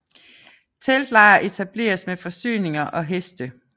Teltlejr etableres med forsyninger og heste